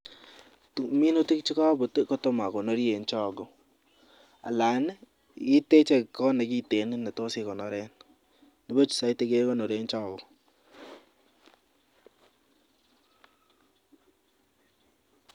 MInutik cho kakoti kotam akonori en chogo anan iteche kot nekiten netos ikonoren nebuch saiti kekonoren chogo.